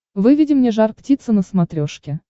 выведи мне жар птица на смотрешке